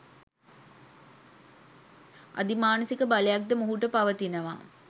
අධි මානසික බයලක් ද මොහුට පවතිනවා